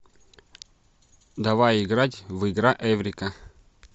давай играть в игра эврика